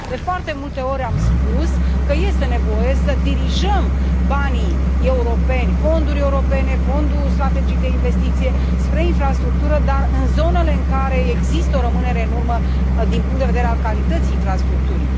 De foarte multe ori am spus că este nevoie să dirijăm banii europeni, fonduri europene, Fondul european pentru investiții strategice spre infrastructură, dar în zonele în care există o rămânere în urmă din punct de vedere al calității infrastructurii.